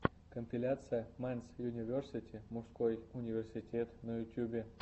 компиляция мэнс юниверсити мужской университет на ютьюбе